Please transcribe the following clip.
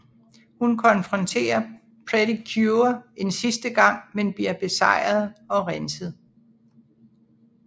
Hun konfronterer Pretty Cure en sidste gang men bliver besejret og renset